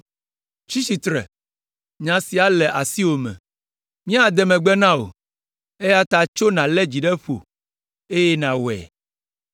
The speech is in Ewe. Tsi tsitre, nya sia le asiwò me. Míade megbe na wò, eya ta tso nàlé dzi ɖe ƒo eye nàwɔe.”